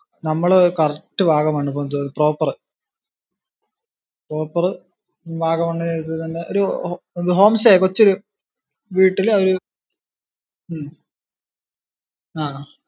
നമ്മള് correct Vagamon proper proper Vagamon കഴിഞ്ഞു ഒരു home stay കൊച്ചൊരു വീട്ടില് ഒരു ഉം അഹ്